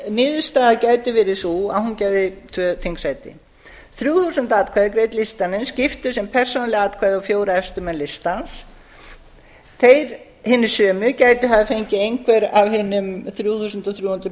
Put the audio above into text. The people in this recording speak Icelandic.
niðurstaða gæti verið sú að hún gæfi tvö þingsæti þrjú þúsund atkvæði greidd listanum skiptust sem persónuleg atkvæði á hina fjóra efstu menn listans þeir hinir sömu gætu hafa fengið einhver af hinum þrjú þúsund og þrjú